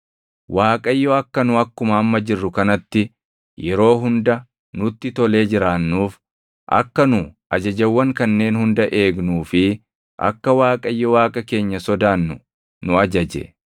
Waaqayyo akka nu akkuma amma jirru kanatti yeroo hunda nutti tolee jiraannuuf akka nu ajajawwan kanneen hunda eegnuu fi akka Waaqayyo Waaqa keenya sodaannu nu ajaje.